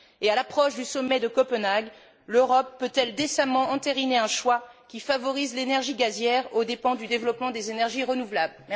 Et, à l'approche du sommet de Copenhague, l'Europe peut elle décemment entériner un choix qui favorise l'énergie gazière aux dépens du développement des énergies renouvelables?